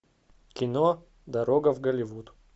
кино дорога в голливуд